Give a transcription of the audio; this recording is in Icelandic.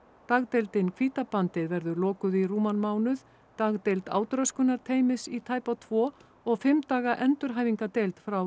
dagdeildin verður lokuð í rúman mánuð dagdeild í tæpa tvo og fimm daga endurhæfingardeild frá